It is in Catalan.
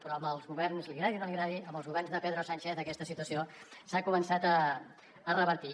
però li agradi o no li agradi amb els governs de pedro sánchez aquesta situació s’ha començat a revertir